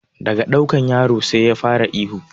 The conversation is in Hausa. Daga ɗaukan yaro sai ya fara ihu